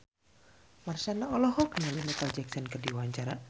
Marshanda olohok ningali Micheal Jackson keur diwawancara